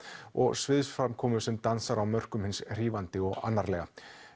og sviðsframkomu sem dansar á mörkum hins hrífandi og annarlega